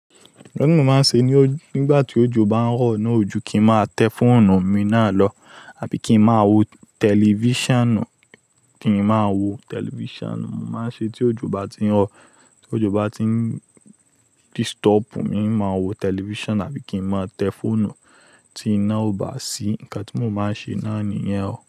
Nkan to mo màá n ṣe nígbà tí òjò bá ń rọ̀ náà, òjò kíì má tẹ fóònù mi náà lọ àbí kí n má wò tẹlifíṣàn. Kí n má wò tẹlifíṣàn, màá ṣe tí òjò bá tí ń rọ̀, tí òjò bá tí ń disturb mi, n máa wò tẹlifíṣàn àbí kí n má tẹ fóònù tí iná ò bá sí. Ǹkan tí mo máa ṣe náà nìyẹn o.